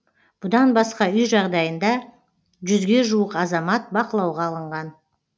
бұдан басқа үй жағдайында жүзге жуық азамат бақылауға алынған